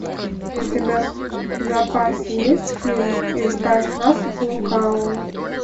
у тебя в запасе есть фильм избавь нас от лукавого